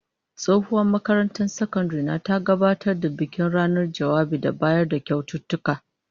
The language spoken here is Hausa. Tsohuwar makarantar sakandare na ta gabatar da bikin ranar jawabai da bayar da kyaututtuka